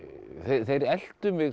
þeir eltu mig